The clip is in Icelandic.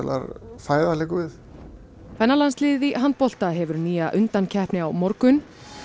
kvennalandsliðið í handbolta hefur nýja undankeppni á morgun